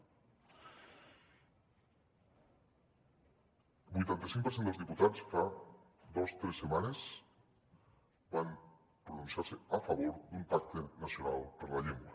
el vuitanta cinc per cent dels diputats fa dos tres setmanes van pronunciar se a favor d’un pacte nacional per la llengua